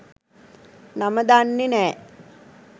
නම දන්නෙ නෑ.